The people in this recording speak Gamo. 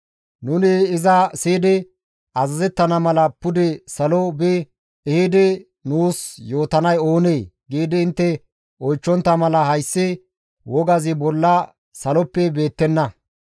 «Nuni iza siyidi azazettana mala pude salo bi ehidi nuus yootanay oonee?» giidi intte oychchontta mala hayssi wogazi bolla saloppe beettenna.